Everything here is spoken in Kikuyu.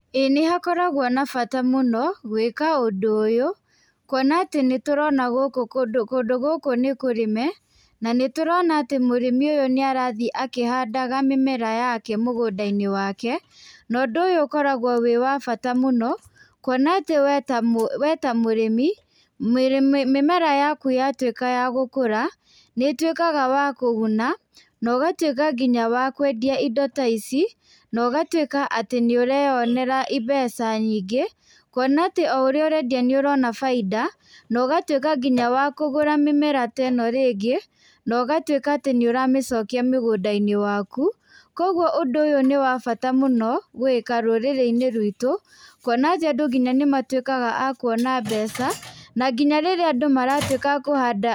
Ĩĩ nĩ hakoragwo na bata mũno gwĩka ũndũ ũyũ, kuona atĩ nĩ tũrona kũndũ gũkũ nĩ kũrĩme na nĩ tũrona atĩ mũrĩmi ũyũ nĩ arathii akĩhandaga mĩmera yake mũgũnda-inĩ wake na ũndũ ũyũ ũkoragwo wĩ wa bata mũno. Kuona atĩ we ta mũrĩmi mĩmera yaku yatuĩka yagũkũra nĩ ĩtuĩkaga wa kũguna na ũgatuĩka nginya wa kwendia indo ta ici na ũgatuĩka atĩ nĩ ũreyonera mbeca nyingĩ. Kuona atĩ o ũrĩa ũrendia nĩ ũrona bainda na ũgatuĩka nginya wa kũgũra mĩmera ta ĩno rĩngĩ na ũgatuĩka atĩ nĩ ũramĩcokia mũgũnda-inĩ waku. Koguo ũndũ ũyũ nĩ wa bata mũno gwĩka rũrĩrĩ-inĩ ruitũ kuona atĩ andũ nginya nĩ matuĩkaga a kuona mbeca na nginya rĩrĩa andũ maratuĩka akũhanda.